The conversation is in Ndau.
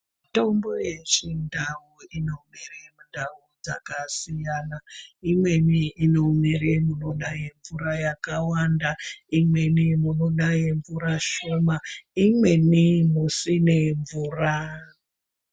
Mitombo yechindau inomere mundau dzakasiyana imweni inomere munonaye mvura yakawanda, imweni munonaye mvura shoma, imweni musine mvura.